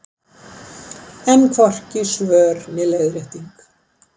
Enn hvorki svör né leiðrétting